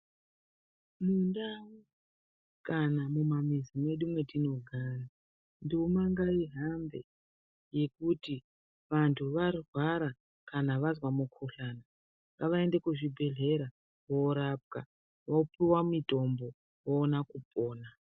Mundau kana mumamizi mwedu me tinogara nduma ngaihambe yekuti vantu varwara kana vazwa mukuhlani ngavaende kuzvibhedhlera korapwa vopiwe mutombo voona kupona.